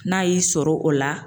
N'a y'i sɔrɔ o la